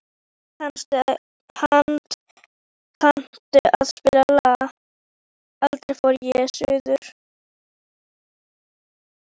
Hödd, kanntu að spila lagið „Aldrei fór ég suður“?